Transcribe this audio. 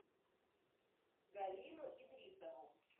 галину идрисову